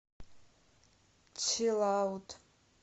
чилаут